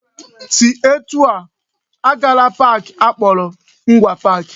Si etu a! Agala park akpọrọ Ngwa Park